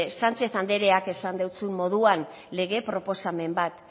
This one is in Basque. sánchez andreak esan dotzun moduan lege proposamen bat